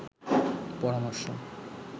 পরামর্শ